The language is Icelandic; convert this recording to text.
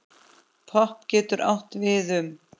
Popp getur átt við um